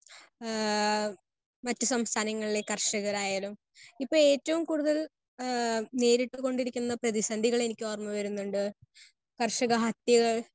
Speaker 1 ആഹ് മറ്റു സംസ്ഥാനങ്ങളിലെ കർഷകരായാലും ഇപ്പം ഏറ്റവും കൂടുതൽ ആഹ് നേരിട്ടുകൊണ്ടിരിക്കുന്ന പ്രതിസന്ധികളെ എനിക്കോർമ്മ വരുന്നുണ്ട്. കർഷക ഹത്യകൾ